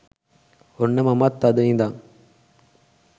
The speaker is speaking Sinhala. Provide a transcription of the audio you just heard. ඔන්න මමත් අද ඉදන්